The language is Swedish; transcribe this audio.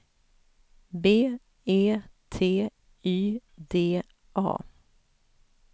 B E T Y D A